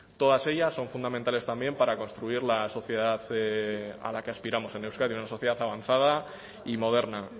todas ellas son fundamentales también para construir la sociedad a la que aspiramos en euskadi una sociedad avanzada y moderna